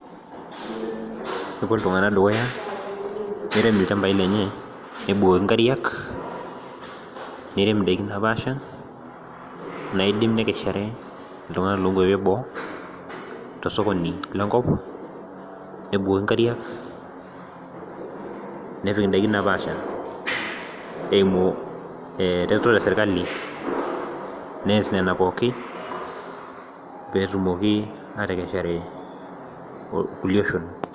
kepuoito iltung'anak dukuya , keret ilchambi lenye nebukoki inkariak nirem idakin naapaasha, naaidim nekeshare iltung'anak loo nkuapi eboo tosokoni lenkop, nebukoki inkariak neun idaikin naapaasha, eimu eretoto esirkali nees nena pooki pee etumoki aatekeshare ilkulie oshon.